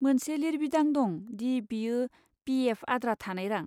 मोनसे लिरबिदां दं दि बेयो पि. एफ.आद्रा थानाय रां।